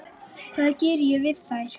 Hvað ég geri við þær?